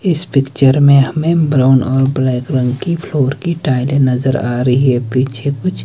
इस पिक्चर में हमें ब्राउन और ब्लैक रंग की फ़्लोर की टाइलें नज़र आ रही हैं पीछे कुछ--